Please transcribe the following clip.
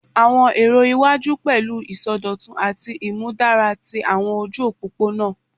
Awọn ero iwaju pẹlu isọdọtun ati imudara ti awọn oju opopona